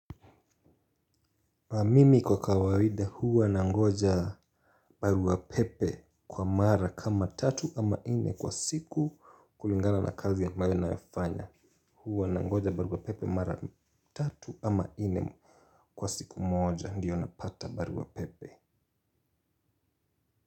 Mimi kwa kawaida huwa nangoja barua pepe kwa mara kama tatu ama nne kwa siku kulingana na kazi ambayo nayafanya. Huwa nangoja barua pepe mara tatu ama ine kwa siku moja. Ndiyo napata barua pepe.